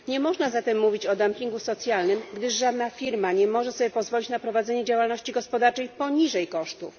Nie można zatem mówić o dumpingu socjalnym, gdyż żadna firma nie może sobie pozwolić na prowadzenie działalności gospodarczej poniżej kosztów.